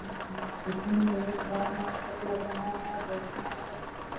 मुझे देखने में बहुत बड़ा मार्किट लग रहा है जोभी मार्किट है।